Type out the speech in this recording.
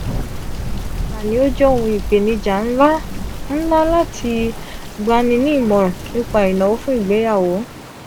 o jẹ ohun ipenija nla nla lati gbani ni imọran nipa inawo fun igbeyawo.